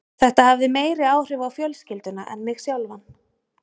Þetta hafði meiri áhrif á fjölskylduna en mig sjálfan.